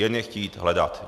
Jen je chtít hledat.